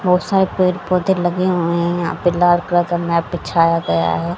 बहुत सारे पेड़ पौधे लगे हुए हैं यहां पे लाल कलर का मैट बिछाया गया है।